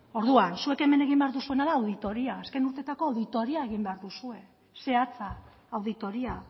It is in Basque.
orduan zuek hemen egin behar duzuena da auditoria azken urteetako auditoria egin behar duzue zehatza auditoria